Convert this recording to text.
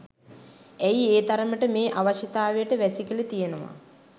ඇයි ඒ තරමට මේ අවශ්‍යතාවයට වැසිකිලි තියනවා.